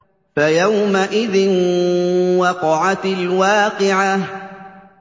فَيَوْمَئِذٍ وَقَعَتِ الْوَاقِعَةُ